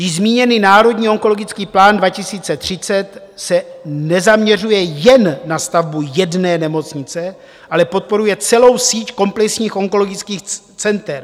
Již zmíněný Národní onkologický plán 2030 se nezaměřuje jen na stavbu jedné nemocnice, ale podporuje celou síť komplexních onkologických center.